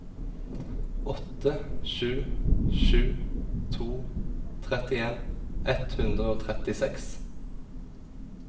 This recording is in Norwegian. åtte sju sju to trettien ett hundre og trettiseks